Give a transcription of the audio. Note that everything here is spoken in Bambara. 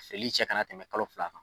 Seli cɛ kana tɛmɛ kalo fila kan.